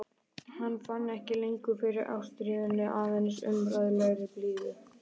Hann fann ekki lengur fyrir ástríðunni, aðeins óumræðilegri blíðu.